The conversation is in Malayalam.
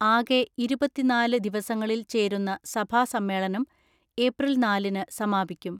ആകെ ഇരുപത്തിനാല് ദിവസങ്ങളിൽ ചേരുന്ന സഭാ സമ്മേളനം ഏപ്രിൽ നാലിന് സമാപിക്കും.